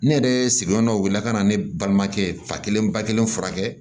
Ne yɛrɛ sigiyɔrɔ la ka na ne balimakɛ ba kelen ba kelen furakɛ